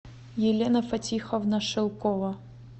елена фатиховна шелкова